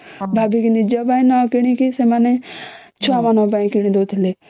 ଭାବିକି ନିଜ ପାଇଁ ନ କିଣିକି ସେମାନେ ଛୁଆ ମାନଙ୍କ ପାଇଁ କିଣି ଦାଉ ଥିଲେ